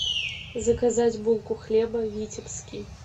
заказать булку хлеба витебский